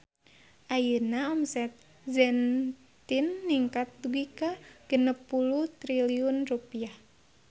Ayeuna omset Zentin ningkat dugi ka 60 triliun rupiah